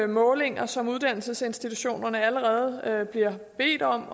målinger som uddannelsesinstitutionerne allerede bliver bedt om